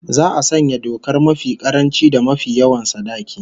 Za'a sanya dokar mafi karanci da mafi yawan sadaki